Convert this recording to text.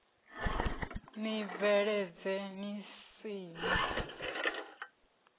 ni bvuledze ni si na